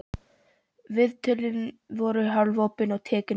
Viðtölin voru hálfopin og tekin upp á segulband.